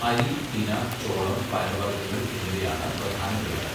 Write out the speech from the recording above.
അരി, തിന, ചോളം, പയർവർഗ്ഗങ്ങൾ എന്നിവയാണ് പ്രധാനവിളകൾ.